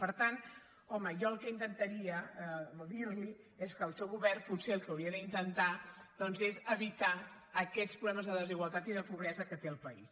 per tant home jo el que intentaria dir li és que el seu govern potser el que hauria d’intentar doncs és evitar aquests problemes de desigualtat i de pobresa que té el país